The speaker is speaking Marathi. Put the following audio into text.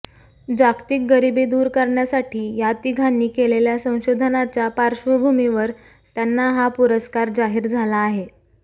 जागतिक गरिबी दूर करण्यासाठी या तिघांनी केलेल्या संशोधनाच्या पार्श्वभूमीवर त्यांना हा पुरस्कार जाहीर झाला आहे